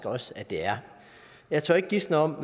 også det er jeg tør ikke gisne om